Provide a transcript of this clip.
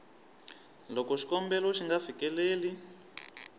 loko xikombelo xi nga fikeleli